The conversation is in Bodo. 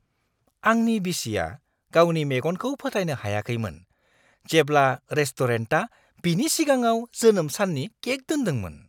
आंनि बिसिया गावनि मेगनखौ फोथायनो हायाखैमोन जेब्ला रेस्ट'रेन्टआ बिनि सिगाङाव जोनोम साननि केक दोनदोंमोन।